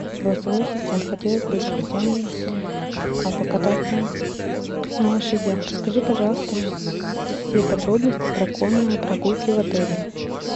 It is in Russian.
голосовой ассистент хотелось бы с друзьями покататься на лошадях расскажи пожалуйста все подробности про конные прогулки в отеле